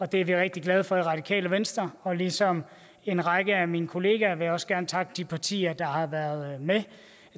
det er vi rigtig glade for i radikale venstre ligesom en række af mine kollegaer vil jeg også gerne takke de partier der har været med